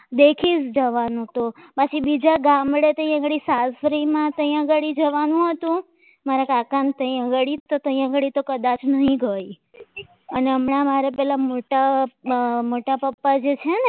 દેખી જવાનું તો બાકી બીજા ગામડેથી અહીંયા કરતા સાસરીમાં ત્યાં આગળ જવાનું હતું મારા કાકા ને ત્યાં આગળ તો ત્યાં આગળ તો કદાચ નહીં ગઈ અને અહીંયા મોટા પપ્પા છે ને